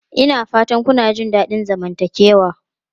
Ina fatan kuna jin daɗin zamantakewa?